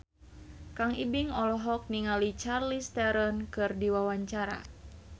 Kang Ibing olohok ningali Charlize Theron keur diwawancara